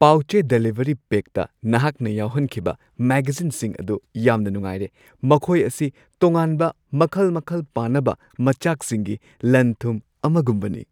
ꯄꯥꯎ-ꯆꯦ delivery ꯄꯦꯛꯇ ꯅꯍꯥꯛꯅ ꯌꯥꯎꯍꯟꯈꯤꯕ ꯃꯦꯒꯖꯤꯟꯁꯤꯡ ꯑꯗꯨ ꯌꯥꯝꯅ ꯅꯨꯡꯉꯥꯏꯔꯦ ꯫ ꯃꯈꯣꯏ ꯑꯁꯤ ꯇꯣꯉꯥꯟꯕ ꯃꯈꯜ ꯃꯈꯜ ꯄꯥꯅꯕ ꯃꯆꯥꯛꯁꯤꯡꯒꯤ ꯂꯟ-ꯊꯨꯝ ꯑꯃꯒꯨꯝꯕꯅꯤ ꯫